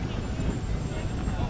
Lolo, lolo, lolo!